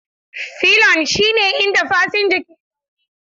Filon shine inda fasinja ke zaune.